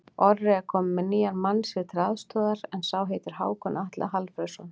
Orri er kominn með nýjan mann sér til aðstoðar, en sá heitir Hákon Atli Hallfreðsson.